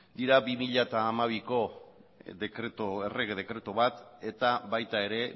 dira bi mila hamabiko errege dekretu bat eta baita ere